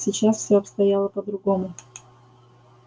сейчас все обстояло по-другому